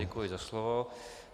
Děkuji za slovo.